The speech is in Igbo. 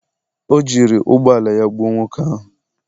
o jiri ụgbọ ala ya gbuo nwoke ahụ